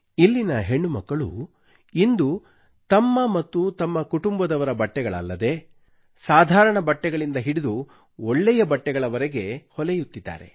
ಇಲ್ಲಿನ ಹೆಣ್ಣುಮಕ್ಕಳು ಇಂದು ತಮ್ಮ ಮತ್ತು ತಮ್ಮ ಕುಟುಂಬದವರ ಬಟ್ಟೆಗಳಲ್ಲದೆ ಸಾಮಾನ್ಯವಾಗಿರುವ ಬಟ್ಟೆಗಳಿಂದ ಹಿಡಿದು ಒಳ್ಳೊಳ್ಳೆಯ ಬಟ್ಟೆಗಳವರೆಗೆ ಹೊಲೆಯುತ್ತಿದ್ದಾರೆ